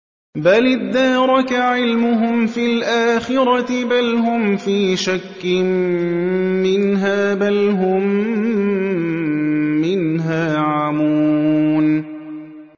بَلِ ادَّارَكَ عِلْمُهُمْ فِي الْآخِرَةِ ۚ بَلْ هُمْ فِي شَكٍّ مِّنْهَا ۖ بَلْ هُم مِّنْهَا عَمُونَ